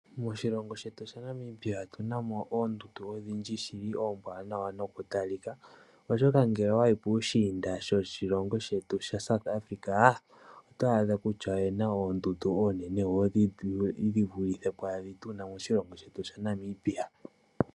Moshilongo shetu shaNamibia otuna mo oondundu odhindji shili ombwaanawa nokutalika , oshoka ngele owa yi pushinda shoshilongo shetu shaSouth Africa otwaadha kutya oyena oondundu onene wo dhi vulithe pwa dhi tuna moshilongo shetu sha Namibia.